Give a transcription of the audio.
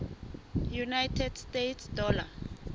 united states dollar